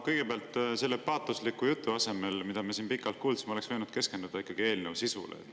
Kõigepealt, selle paatosliku jutu asemel, mida me siin pikalt kuulsime, oleks võinud ikkagi keskenduda eelnõu sisule.